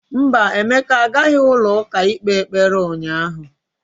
Mba, Emeka agaghị ụlọ ụka ịkpe ekpere ụnyahụ.